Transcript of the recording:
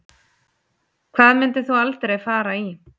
Hvað myndir þú aldrei fara í